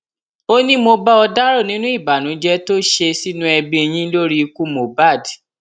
ó ní mo bá ò dárò nínú ìbànújẹ tó ṣe sínú ẹbí yín lórí ikú mohbad